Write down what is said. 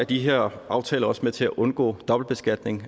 de her aftaler også med til at undgå dobbeltbeskatning